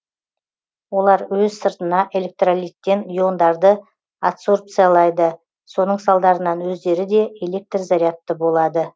олар өз сыртына электролиттен иондарды адсорбциялайды соның салдарынан өздері де электр зарядты болады